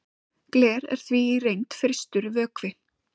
gler er því í reynd frystur vökvi